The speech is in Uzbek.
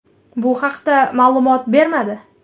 Bu haqda ma’lumot bermadi.